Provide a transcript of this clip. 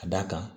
Ka d'a kan